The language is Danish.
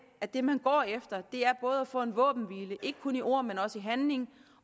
at det man går efter er både at få en våbenhvile ikke kun i ord men også i handling